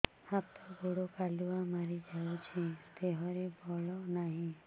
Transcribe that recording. ହାତ ଗୋଡ଼ କାଲୁଆ ମାରି ଯାଉଛି ଦେହରେ ବଳ ନାହିଁ